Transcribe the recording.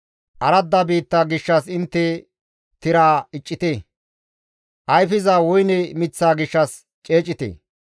Aradda biitta gishshas intte tiraa iccite; ayfiza woyne miththaa gishshas ceecite;